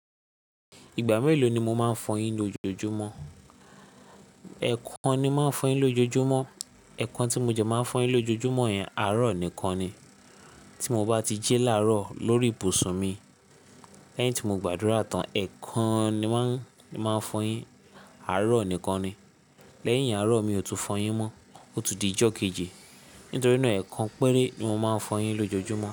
Ìgbà mélòó ni mo máa ń fọyín ní ójoojúmọ́? Ẹ̀ẹ̀kan ni máa ń fọyín lójoojúmọ́. Ẹ̀ẹ̀kan tí mo jẹ máa fọyín lójoojúmọ́ yẹn àárọ̀ nìkan ni. Tí mo bá ti jí láàárọ̀ lórí ibùsùn mi lẹ́yìn tí mo gbàdúrà tán, ẹ̀ẹ̀kan ni màá máa fọyín. Àárọ̀ nìkan ni. Lẹ́yìn àárọ̀ mi ò tún fọyín mọ́, ó ti di ìjọ́ kejì. Nítorí náà ẹ̀ẹ̀kan péré ni mo máa ń fọyín lójoojúmọ́